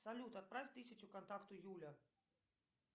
салют отправь тысячу контакту юля